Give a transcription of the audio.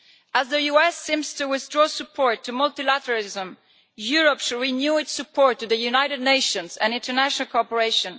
As the US seems to withdraw support for multilateralism, Europe should renew its support for the United Nations and international cooperation.